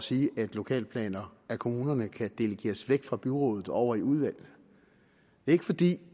sige at lokalplaner af kommunerne kan delegeres væk fra byrådet og over i udvalget ikke fordi